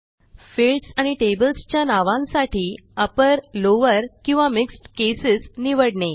fields आणि tables च्या नावांसाठी अपर लॉवर किंवा मिक्स्ड केसेस निवडणे